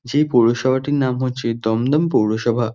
যে পৌরসভাটির নাম হচ্ছে দমদম পৌরসভা।